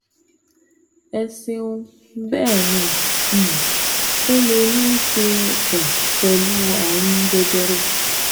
Ẹ ṣeun, Bẹ́ẹ̀ ni, um ó lè ní í ṣe um pẹ̀lú ààrùn jẹjẹrẹ